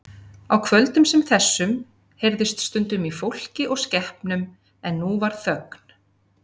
Á kvöldum sem þessu heyrðist stundum í fólki og skepnum en nú var þögn.